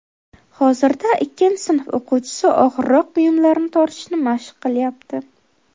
Hozirda ikkinchi sinf o‘quvchisi og‘irroq buyumlarni tortishni mashq qilyapti.